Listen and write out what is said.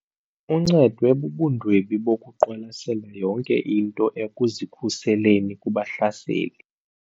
Uncedwe bubundwebi bokuqwalasela yonke into ekuzikhuseleni kubahlaseli.